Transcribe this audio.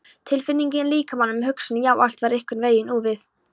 Tilfinningin í líkamanum, hugsunin, já, allt var einhvern veginn úfið.